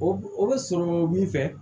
O o bɛ sɔrɔ min fɛ